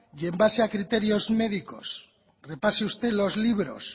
y en base a criterios médicos repase usted los libros